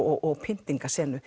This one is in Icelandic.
og